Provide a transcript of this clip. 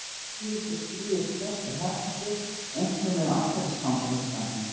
Að síðustu skrýðist prestur hökli, einkum ef altarisganga fer fram.